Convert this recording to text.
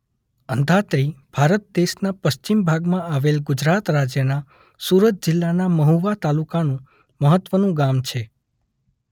અંધાત્રી ભારત દેશના પશ્ચિમ ભાગમાં આવેલા ગુજરાત રાજ્યના સુરત જિલ્લાના મહુવા તાલુકાનું મહત્વનું ગામ છે.